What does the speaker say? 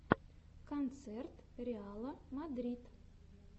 концерт реала мадрид